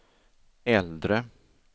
äldre